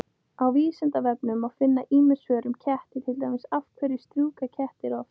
Á Vísindavefnum má finna ýmis svör um ketti, til dæmis: Af hverju strjúka kettir oft?